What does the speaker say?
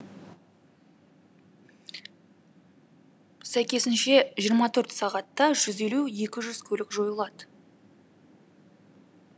сәйкесінше жиырма төрт сағатта жүз елу екі жүз көлік жойылады